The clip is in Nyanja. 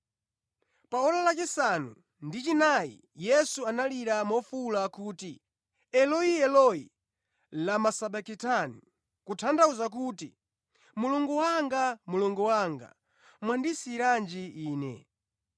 Pa ora lachisanu ndi chinayi Yesu analira mofuwula kuti, “Eloi, Eloi, lama sabakitani?” Kutanthauza kuti, “Mulungu wanga, Mulungu wanga, mwandisiyiranji Ine?”